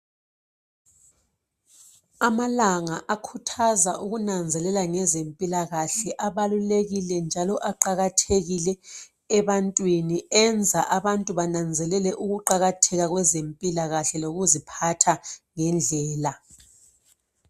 Amalanga akhuthaza ukunanzelela ngezempilakahle abaluleki njalo aqakathekile ebantwini enza abantu bananzelele ukuqakatheka kwezempilakahle lokuziphatha ngendlela.